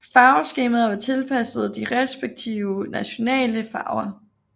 Farveskemaet var tilpasset de respektive nationale farver